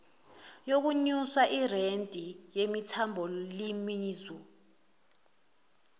yokunyusa ireythi yemethabholizimu